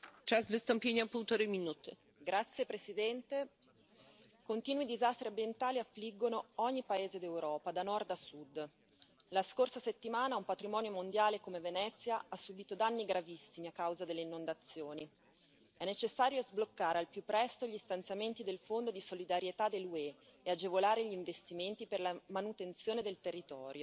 Signora Presidente, onorevoli colleghi, continui disastri ambientali affliggono ogni paese d'Europa, da nord a sud. La scorsa settimana un patrimonio mondiale come Venezia ha subito danni gravissimi a causa delle inondazioni. È necessario sbloccare al più presto gli stanziamenti del Fondo di solidarietà dell'UE e agevolare gli investimenti per la manutenzione del territorio,